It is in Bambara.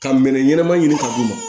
Ka minɛ ɲɛnama ɲini ka d'u ma